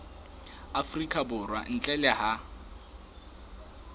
afrika borwa ntle le ha